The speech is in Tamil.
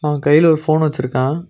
அவன் கைல ஒரு போன் வச்சுருக்கான்.